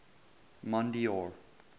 mondeor